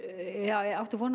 áttu von á